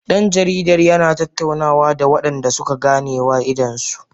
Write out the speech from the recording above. Dan jaridar yana tattaunawa da wadanda suka ganewa idanunsu